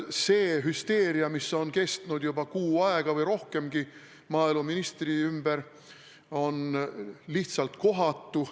See hüsteeria, mis on kestnud juba kuu aega või rohkemgi maaeluministri ümber, on lihtsalt kohatu.